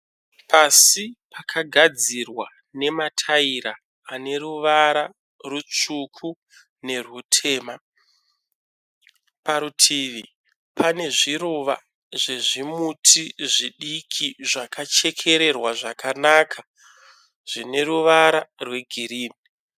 Pasi pakagadzirwa nemataira ane ruvara rutsvuku nerutema parutivi pane zviruva zvezvimuti zvakachekererwa zvakanaka zvine ruvara rwegirini